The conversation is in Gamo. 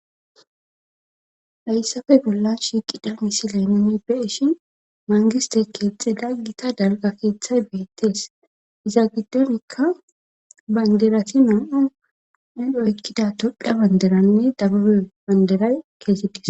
hayssafe bollan shiiqida misileni be7ishin mangiste keexxida gita dalga keeththay beettees iza giddonikka banderati me7o nudho ykkida todha banderanne dababe banderay geetetes